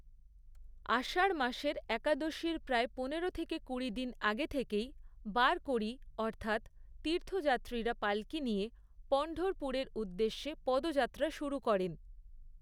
আষাঢ় মাসের একাদশীর প্রায় পনেরো থেকে কুড়ি দিন আগে থেকেই, বারকরী অর্থাৎ তীর্থযাত্রীরা পালকি নিয়ে পণ্ঢরপুরের উদ্দেশ্যে পদযাত্রা শুরু করেন।